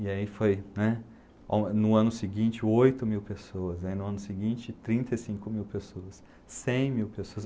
E aí foi, ó né, no ano seguinte, oito mil pessoas, né, no ano seguinte, trinta e cinco mil pessoas, cem mil pessoas.